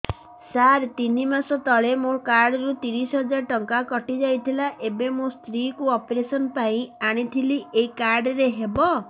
ସାର ତିନି ମାସ ତଳେ ମୋ କାର୍ଡ ରୁ ତିରିଶ ହଜାର ଟଙ୍କା କଟିଯାଇଥିଲା ଏବେ ମୋ ସ୍ତ୍ରୀ କୁ ଅପେରସନ ପାଇଁ ଆଣିଥିଲି ଏଇ କାର୍ଡ ରେ ହବ